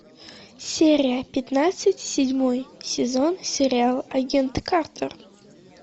серия пятнадцать седьмой сезон сериал агент картер